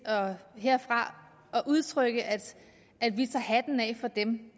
herfra at udtrykke at vi tager hatten af for dem